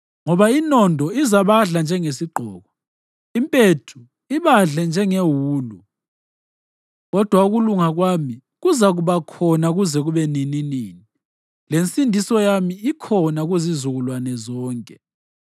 Ngoba inondo izabadla njengesigqoko; impethu ibadle njengewulu. Kodwa ukulunga kwami kuzakuba khona kuze kube nininini; lensindiso yami ikhona kuzizukulwane zonke.”